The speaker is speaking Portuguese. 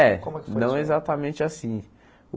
É, não exatamente assim.